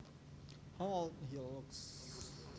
How old he looks